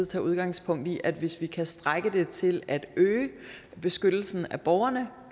tage udgangspunkt i at hvis vi kan strække det til at øge beskyttelsen af borgerne